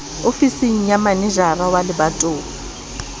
ofising ya manejara wa lebatowa